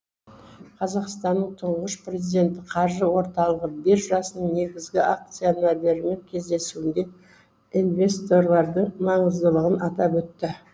қазақстанның тұңғыш президенті қаржы орталығы биржасының негізгі акционерлерімен кездесуінде инвесторлардың маңыздылығын атап өтті